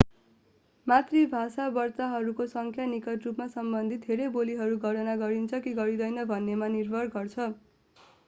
मातृभाषा वक्ताहरूको संख्या निकट रुपमा सम्बन्धित धेरै बोलीहरू गणना गरिन्छ कि गरिँदैन भन्नेमा निर्भर गर्छ